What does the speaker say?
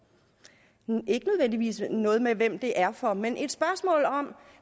nej ikke nødvendigvis noget med hvem det er for men et spørgsmål om